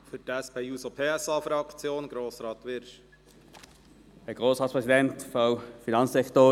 Für die SP-JUSO-PSA-Fraktion erteile ich Grossrat Wyrsch das Wort.